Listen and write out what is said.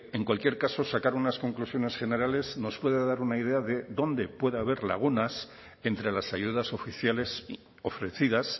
en cualquier caso sacar unas conclusiones generales nos puede dar una idea de dónde puede haber lagunas entre las ayudas oficiales ofrecidas